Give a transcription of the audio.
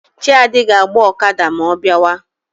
Chiadi ga-agba Okada ma ọ biawa.